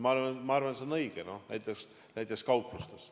Ma arvan, et see on õige, näiteks kauplustes.